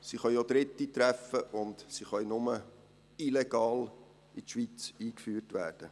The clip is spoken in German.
Sie können auch Dritte treffen, und sie können nur illegal in die Schweiz eingeführt werden.